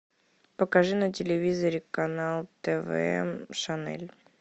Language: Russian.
покажи на телевизоре канал тв шанель